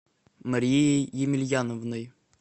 марией емельяновной